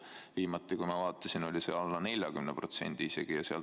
Viimati, kui ma seda vaatasin, oli see alla 40% isegi.